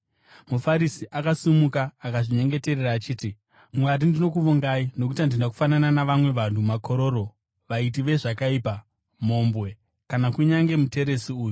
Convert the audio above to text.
MuFarisi akasimuka akazvinyengeterera achiti, ‘Mwari, ndinokuvongai nokuti handina kufanana navamwe vanhu, makororo, vaiti vezvakaipa, mhombwe, kana kunyange muteresi uyu.